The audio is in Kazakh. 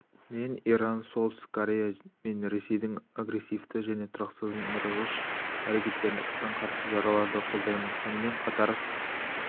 мен иран солтүстік корея мен ресейдің агрессивті және тұрақсыздандырғыш әрекеттеріне қатаң қарсы шараларды қолдаймын сонымен қатар